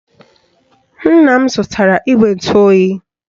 Nna m zụtara igwe ntụoyi